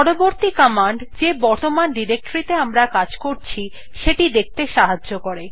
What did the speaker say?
পরবর্তী কমান্ড যে বর্তমান ডিরেক্টরী তে আমরা কাজ করছি সেটি দেখতে সাহায্য করে